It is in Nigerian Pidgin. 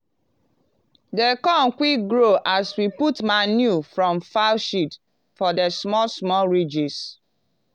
di corn quick grow as we put manure from fowl shit for the small small ridges.